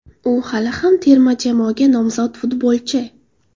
U hali ham terma jamoaga nomzod futbolchi.